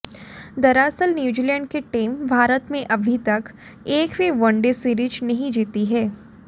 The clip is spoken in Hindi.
दरअसल न्यूजीलैंड की टीम भारत में अभी तक एक भी वनडे सीरीज नहीं जीती है